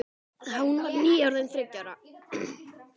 Hún var nýorðin þriggja ára.